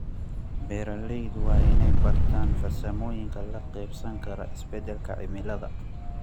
Beeraleydu waa inay bartaan farsamooyinka la qabsan kara isbeddelka cimilada.